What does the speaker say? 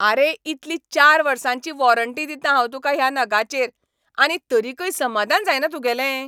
आरे इतली चार वर्सांची वॉरंटी दितां हांव तुका ह्या नगाचेर, आनी तरीकय समादान जायना तुगेलें?